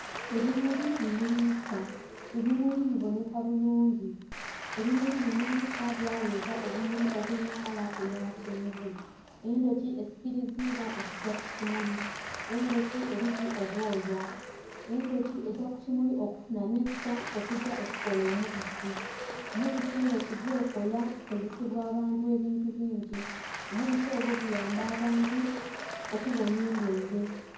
Ebimuli bimuliisa, ebimuli bibonheka bulungi. Ebimuli bimuliisa byaleeta obumuli obulina kala eya kyenvu. Endhuki esikiliziibwa okugya ku kimuli. Endhuki eliku obwoya. Endhuki egya ku kimuli okufunha nectar, okugya okukola omubisi. Omubisi endhuki gwekola gukozesebwa abantu ebintu bingi. Omubisi ogwo guyamba abantu okuwonhya endwaile.